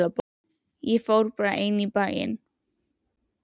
Ég fór bara ein í bæinn.